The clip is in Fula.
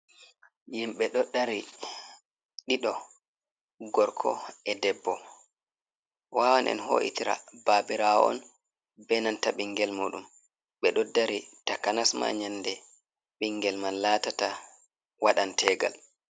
Himɓe do dari ɗiɗo gorko e debbo ,wawan en ho’itira babirawo on benanta bingel muɗum be do dari takanasma nyande ɓingel man latata waɗantegal.